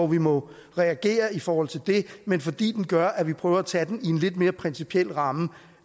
vi må reagere i forhold til men fordi den gør at vi prøver at tage den i en lidt mere principiel ramme